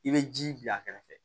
I bɛ ji bila a kɛrɛfɛ